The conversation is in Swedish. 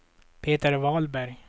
Peter Wahlberg